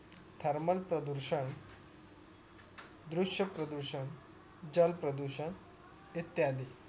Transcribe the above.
thermal प्रदूषण दृश्य प्रदूषण जल प्रदूषण इत्यादि